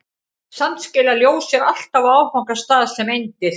Samt skilar ljós sér alltaf á áfangastað sem eindir.